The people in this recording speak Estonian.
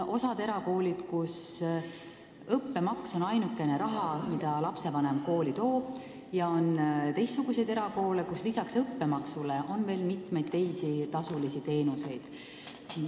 Osas erakoolides on õppemaks ainukene raha, mida lapsevanem kooli toob, aga teistes erakoolides on lisaks õppemaksule veel mitmeid teisi tasulisi teenuseid.